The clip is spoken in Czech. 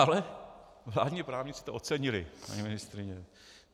Ale vládní právníci to ocenili, paní ministryně.